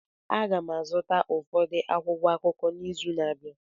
Aga m azụta ụfọdụ akwụkwọ akụkọ n'izu na-abịa